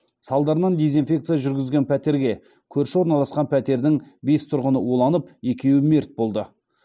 салдарынан дезинфекция жүргізген пәтерге көрші орналасқан пәтердің бес тұрғыны уланып екеуі мерт болды